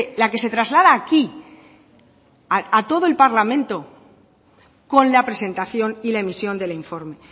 la que se traslada aquí a todo el parlamento con la presentación y la emisión del informe